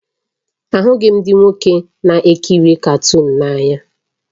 Ahụghị m ndị nwoke na-ekiri katuunu n'anya